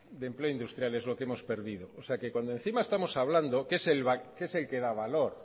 de empleo industrial es lo que hemos perdido o sea que cuando encima estamos hablando que es el que da valor